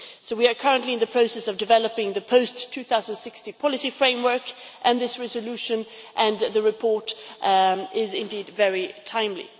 We are currently in the process of developing the post-2016 policy framework, and this resolution and the report are indeed very timely.